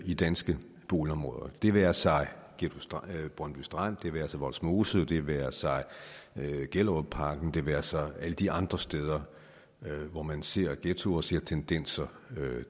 i danske boligområder det være sig brøndby strand det være sig vollsmose det være sig gellerupparken det være sig alle de andre steder hvor man ser ghettoer og ser tendenser